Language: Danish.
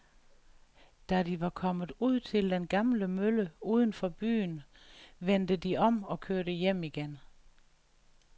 Da de var kommet ud til den gamle mølle uden for byen, vendte de om og kørte hjem igen.